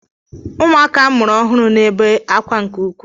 Ụmụaka a mụrụ ọhụrụ na-ebe akwa nke ukwuu.